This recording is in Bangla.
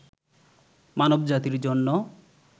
মানব জাতির জন্য